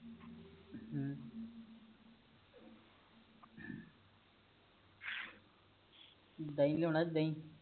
ਦਹੀਂ ਲਿਆਉਣਾ ਅੱਜ ਦਹੀ